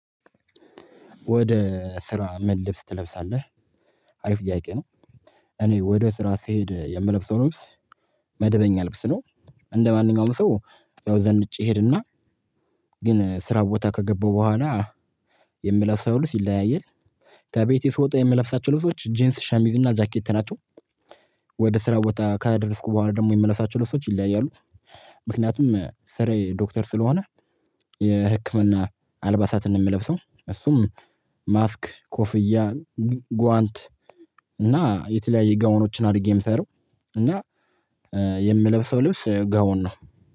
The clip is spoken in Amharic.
ወደ ስራ ምን ልብስ ትለብሳለህ? አሪፍ ጥያቄ ነው። እኔ ወደ ስራ ስሄድ የምለብሰው ልብስ መደበኛ ልብስ ነው። እንደማንኛውም ሰው ያው ዘንጬ ሄድና ግን ስራ ቦታ ከገባው በኋላ የምለፍሰው ይለያያል። ከቤቴ ስወጣ የምለፍሳቸው ልብሶች ጂንስ ሸሚዝና እና ጃኬት ናቸው። ወደ ስራ ቦታ ካደረስኩ በኋላ ደግሞ የምለብሳቸው ልብሶች ይለያያሉ። ምክንያቱም ስራዬ ዶክተር ስለሆነ የህክምና አልባሳትን ነው የምለብሰው። እሱም ማስክ ኮፍያ ጓንት እና የተለያየ ጋውኖችን አድርጌ የምሰራው። እና የምለብሰው ልብስ ጋወን ነው